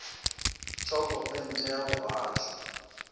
tšhoko pente ya go gašwa